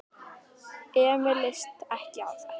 Emil leist ekki á þetta.